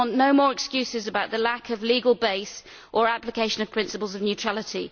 We want no more excuses about the lack of legal base or application of principles of neutrality.